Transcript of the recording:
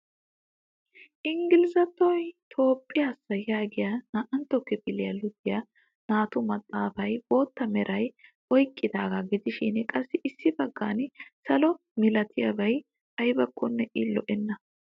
Ingilzattoy toophiyaasa yaagiya naa"antta kifiliya luxiya naatu maxaafaay bootta meraa oyiqqidaagaa gidishin qassi issi baggan salo milatiyabay ayibakko i lo'enna.